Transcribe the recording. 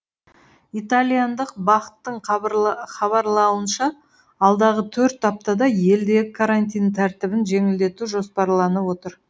италияндық бақ тың хабарлауынша алдағы төрт аптада елдегі карантин тәртібін жеңілдету жоспарланып отыр